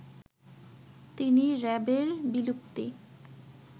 তিনি র‍্যাবের বিলুপ্তি